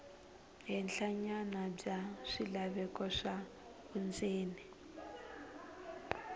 henhlanyana bya swilaveko swa vundzeni